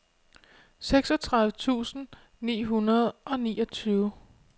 seksogtredive tusind ni hundrede og niogtyve